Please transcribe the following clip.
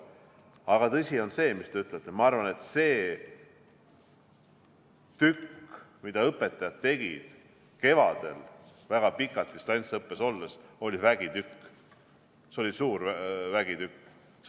Aga tõsi on see, mida te ütlete: ma arvan, et see, mida õpetajad tegid kevadel väga pikalt distantsõppes olles, oli vägitükk, see oli suur vägitükk!